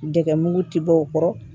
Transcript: Dɛgɛ mugu tɛ bɔ o kɔrɔ